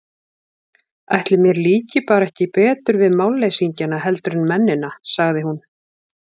Ætli mér líki bara ekki betur við málleysingjana heldur en mennina, sagði hún.